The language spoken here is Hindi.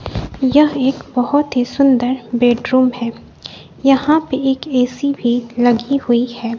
यह एक बहोत ही सुंदर बेडरूम है यहां पे एक ए_सी भी लगी हुई है।